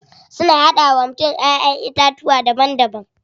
Suna hada wa mutum Ƴaƴan itatuwa daban daban.